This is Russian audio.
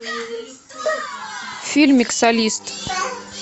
фильмик солист